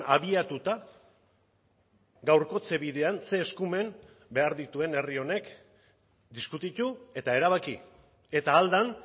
abiatuta gaurkotze bidean ze eskumen behar dituen herri honek diskutitu eta erabaki eta ahal den